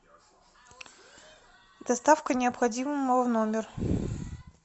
доставка необходимого в номер